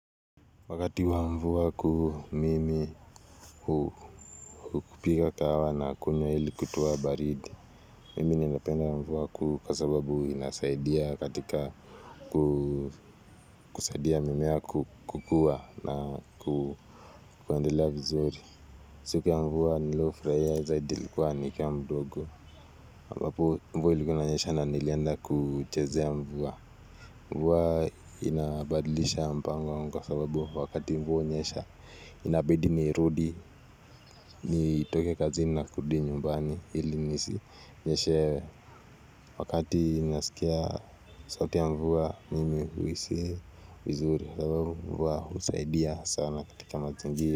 Wakati wa mvua kuu mimi hupika kahawa na kunywa ili kutoa baridi, mimi ninapenda mvua kuu kwa sababu inasaidia katika kusaidia mimea kukuwa na kuendelea vizuri. Siku ya mvua waku niliyofurahiya zaidi ilikuwa nikiwa mdogo, ambapo mvua ilikuwa inanyesha na nilienda kuchezea mvua. Mvua inabadilisha mpango wangu kwa sababu wakati mvua hunyesha inabidi nirudi nitoke kazini na kurudi nyumbani ili nisi nyeshewe wakati nasikia sauti ya mvua mimi huhisi vizuri sababu mvua husaidia sana katika mazingira.